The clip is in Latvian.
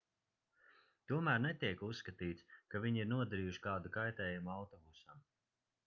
tomēr netiek uzskatīts ka viņi ir nodarījuši kādu kaitējumu autobusam